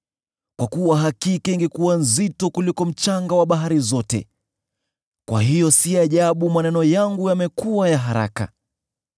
Kwa kuwa hakika ingekuwa nzito kuliko mchanga wa bahari zote, kwa hiyo si ajabu maneno yangu yamekuwa ya haraka.